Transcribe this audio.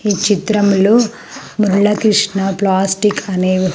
ఈ చిత్రములో ముర్లకృష్ణ ప్లాస్టిక్ అనే.